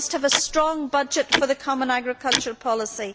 We must have a strong budget for the common agricultural policy.